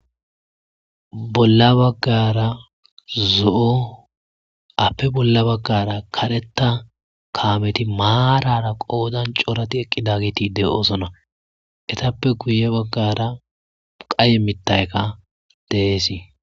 bolla baggara zo7o appe bolla baggara kareta kaameti maarara qoodan corati eqqida giti de7oosona etappe kuye baggara qaye mittaykka deesii